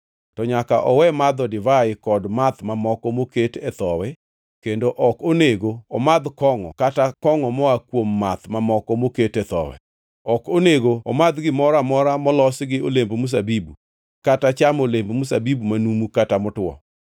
to nyaka owe madho divai kod math mamoko moket e thowi kendo ok onego omadh kongʼo kata kongʼo moa kuom math mamoko moket e thowi. Ok onego omadh gimoro amora molos gi olemb mzabibu, kata chamo olemb mzabibu manumu kata motwo.